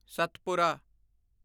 Satpura